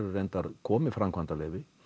reyndar komið framkvæmdarleyfi